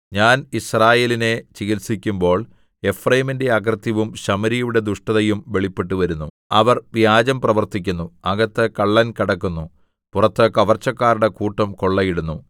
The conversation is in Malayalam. ഞാൻ യിസ്രായേലിനെ ചികിത്സിക്കുമ്പോൾ എഫ്രയീമിന്റെ അകൃത്യവും ശമര്യയുടെ ദുഷ്ടതയും വെളിപ്പെട്ടുവരുന്നു അവർ വ്യാജം പ്രവർത്തിക്കുന്നു അകത്ത് കള്ളൻ കടക്കുന്നു പുറത്ത് കവർച്ചക്കാരുടെ കൂട്ടം കൊള്ളയിടുന്നു